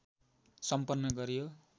सम्पन्न गरियो